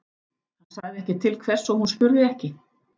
Hann sagði ekki til hvers og hún spurði ekki.